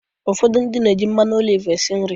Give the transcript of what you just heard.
Ụfodu na-eji mmanụ oliv esi nri.